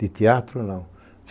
De teatro, não.